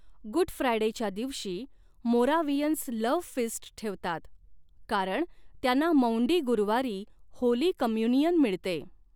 Good फ्रायडेच्या दिवशी Moravians love feast ठेवतात कारण त्यांना मौंडी गुरुवारी होली कम्युनियन मिळते.